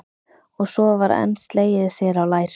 Og svo var enn slegið sér á lær.